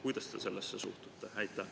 Kuidas te sellesse suhtute?